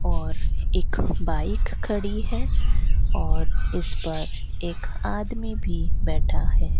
और एक बाइक खड़ी है और उस पर एक आदमी भी बैठा है।